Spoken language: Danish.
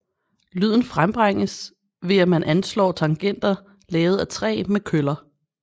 Lyden frembringes ved at man anslår tangenter lavet af træ med køller